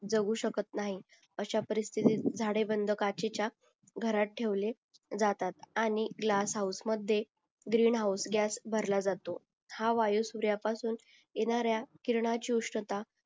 जगू शकत नाहीत अशा परिस्तिथ झाडे बंद काचेच्या घरात ठेवले जातात आणि ग्लास होऊस मध्ये ग्रीन हाऊस गॅस भरला जातो हा आयु सूर्यापासून येणाऱ्या किरणाची उष्णता